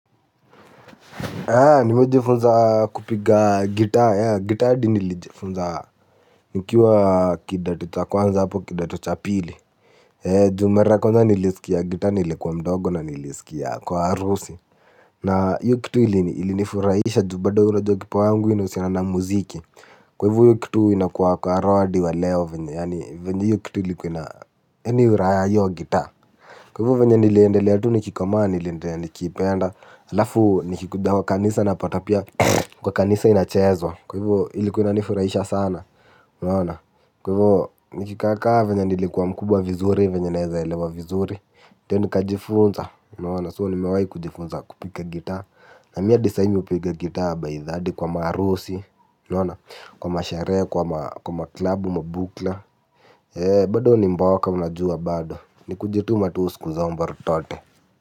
Nilijifunza kupiga gitaa, gitaa hadi nilijifunza nikiwa kidato cha kwanza hapo kidato cha pili. Juu mara kwanza nilisikia gitaa nilikuwa mdogo na nilisikia kwa harusi. Na hiyo kitu ilinifurahisha juu bado unajua kipawa yangu inahusiana na muziki. Kwa hivyo hiyo kitu inakuwa kwa roho hadi wa leo, venye yani raha ya hiyo gitaa. Kwa hivyo venye nilivyoendelea tu nikikomaa niliendelea nikiipenda alafu nikikuja kanisa na pata pia kwa kanisa inachezwa. Kwa hivyo ilikuwa inanifurahisha sana kwa hivyo nikikaa kaa venye nilikwwa mkubwa vizuri venye nawezaelewa vizuri, ndiyo nikajifunza So nimewahi kujifunza kupiaa gitaa. Na mimi hadi saa hizi mimi hupiga gitaa, hadi kwa maharusi, kwa masherehe, kwa maklabu, bado ni mboka unajua bado ni kujituma tu siku zote.